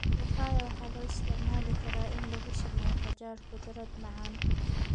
Papaya waxaa loo isticmaali karaa in lagu sameeyo qajaar khudrad macaan.